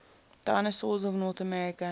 dinosaurs of north america